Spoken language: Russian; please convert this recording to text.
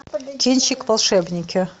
кинчик волшебники